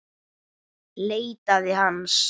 Leitaði hans.